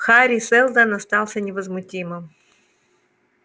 хари сэлдон остался невозмутимым